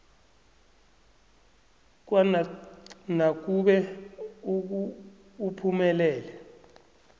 kwanac nakube uphumelele